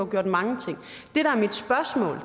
gjort mange ting